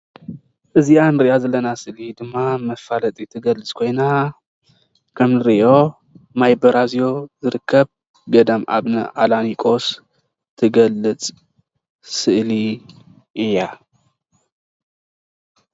እዚኣ ንሪኣ ዘለና ስእሊ ንመፋለጢት ትገልፅ ኮይና ከም ንሪኦ ማይ በራዚዮ ዝርከብ ገዳም ኣቡነ ኣላኒቆስ ትገልፅ ስእሊ እያ፡፡